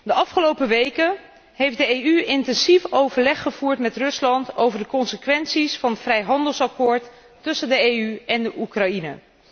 De afgelopen weken heeft de EU intensief overleg gevoerd met Rusland over de consequenties van het vrijhandelsakkoord tussen de EU en Oekraïne.